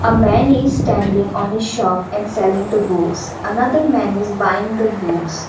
a man is standing on a shop and selling the books and other man is buying the books.